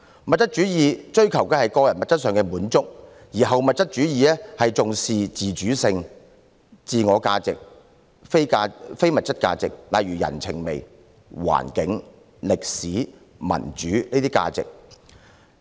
物質主義追求的是個人物質上的滿足，而後物質主義則更重視自主性、自我價值和非物質價值，例如人情味、環境、歷史、民主等價值。